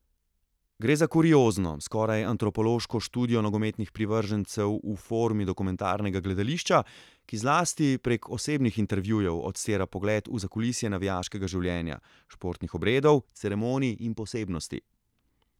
Gre za kuriozno, skoraj antropološko študijo nogometnih privržencev v formi dokumentarnega gledališča, ki zlasti prek osebnih intervjujev odstira pogled v zakulisje navijaškega življenja, športnih obredov, ceremonij in posebnosti.